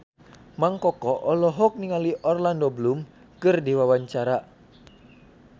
Mang Koko olohok ningali Orlando Bloom keur diwawancara